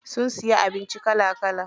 Mun siya abinci kala kala.